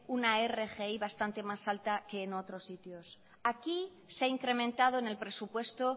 una rgi bastante más alta que en otros sitios aquí se ha incrementado en el presupuesto